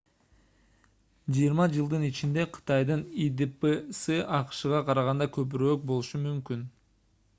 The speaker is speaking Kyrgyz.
жыйырма жылдын ичинде кытайдын идпсы акшга караганда көбүрөөк болушу мүмкүн